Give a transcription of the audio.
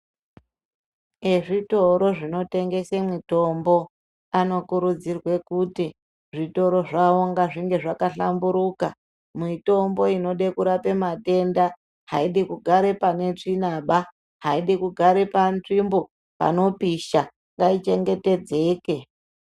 Ezvitoro zvinotengese mutombo anokurudzirwe kuti zvitoro zvawo ngazvinge zvakahlamburuka mitombo inode kurape matenda aidi kugare panzvimbo pane tsvinaba aidi kugare panzvimbo panopisha ngaichengetedzeke.